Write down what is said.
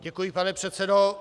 Děkuji, pane předsedo.